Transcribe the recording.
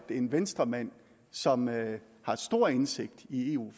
er en venstremand som har stor indsigt i eu